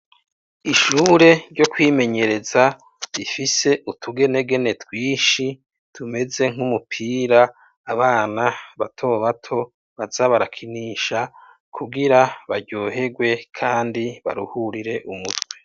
Ishure ryo kwimenyereza rifise utugenegene twishi tumeze nk'umupira abana bato bato baza barakinisha kugira baryohegwe kandi baruhurire umutwe.